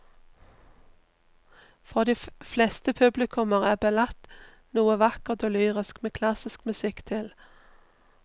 For de fleste publikummere er ballett noe vakkert og lyrisk med klassisk musikk til.